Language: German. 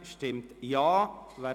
Diese ist nicht gewandelt worden.